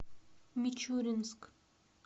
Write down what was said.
мичуринск